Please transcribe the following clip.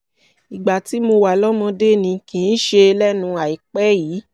ìgbà tí mo wà lọ́mọdé ni kì í ṣe lẹ́nu àìpẹ́ yìí